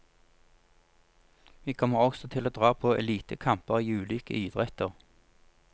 Vi kommer også til å dra på elitekamper i ulike idretter.